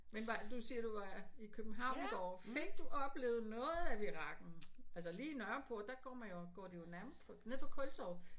Men var du siger du var i København i går fik du oplevet noget af virakken altså lige Nørreport der går man jo og går nærmest nede fra Kultorvet